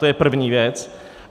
To je první věc.